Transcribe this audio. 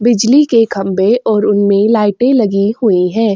बिजली के खंभे और उनमे लाइटें लगी हुई है।